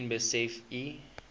miskien besef u